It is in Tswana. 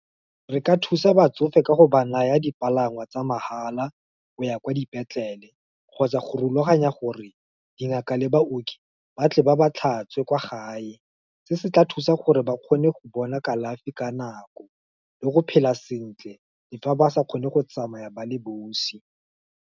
Re ka thusa batsofe ka go ba naya dipalangwa tsa mahala, o ya kwa dipetlele, kgotsa go rulaganya gore, dingaka le baoki, ba tle ba ba tlhatswe, kwa gae, se se tla thusa gore ba kgone go bona kalafi ka nako, le go phela sentle, di fa ba sa kgone go tsamaya ba le bosi.